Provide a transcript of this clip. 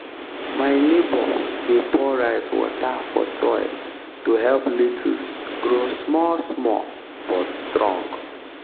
my neighbour dey pour rice water for soil to help lettuce grow small small but strong.